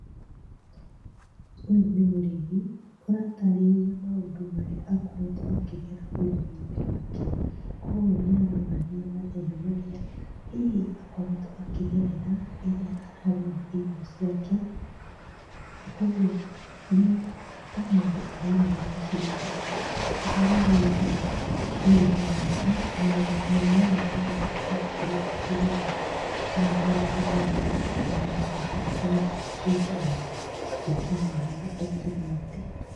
Ũyũ nĩ mũrĩmi, ũratarĩria maũndũ marĩa akoretwo akĩgera ũrĩmi-inĩ wake. Koguo nĩ aronania mathĩna marĩa hihi akoretwo akĩgerera rĩrĩa ararĩma irio ciake, koguo nĩ ta mũndũ ũramũũria ciũria ũhoro wĩigiĩ ũrĩmi wake na maũndũ mwanya mwanya marĩa angĩkorwo akĩgerera, kana marĩa mĩmera yake ĩragerera nĩgetha ĩtuĩke ya gũkinyia harĩa ĩkĩnyĩtie.